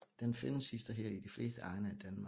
Den findes hist og her i de fleste egne af Danmark